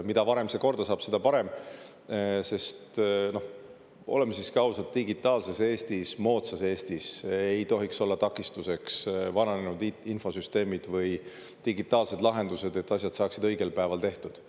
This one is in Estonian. Mida varem see korda saab, seda parem, sest oleme siiski ausad, digitaalses Eestis, moodsas Eestis ei tohiks olla takistuseks vananenud infosüsteemid või digitaalsed lahendused, et asjad saaksid õigel päeval tehtud.